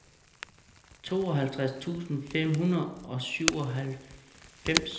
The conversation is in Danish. tooghalvtreds tusind fem hundrede og syvoghalvfems